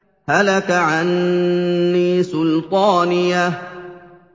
هَلَكَ عَنِّي سُلْطَانِيَهْ